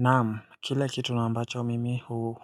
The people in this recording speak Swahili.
Naamu, kile kitu na ambacho mimi